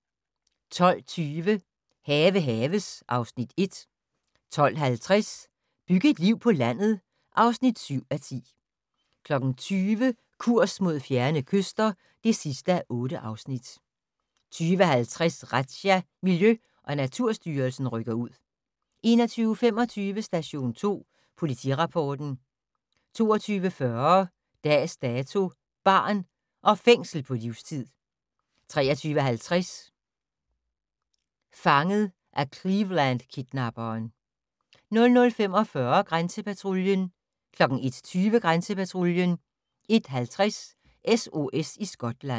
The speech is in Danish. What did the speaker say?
12:20: Have haves (Afs. 1) 12:50: Byg et liv på landet (7:10) 20:00: Kurs mod fjerne kyster (8:8) 20:50: Razzia - Miljø- og Naturstyrelsen rykker ud 21:25: Station 2 Politirapporten 22:40: Dags Dato: Barn - og fængslet på livstid 23:50: Fanget af Cleveland-kidnapperen 00:45: Grænsepatruljen 01:20: Grænsepatruljen 01:50: SOS i Skotland